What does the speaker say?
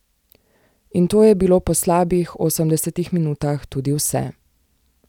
In to je bilo po slabih osemdesetih minutah tudi vse.